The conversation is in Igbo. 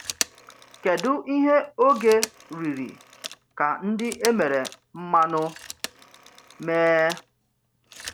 Kèdụ ihe òge rị̀rì ka ndị e mere mmanụ mee?